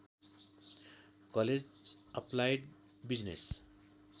college applied business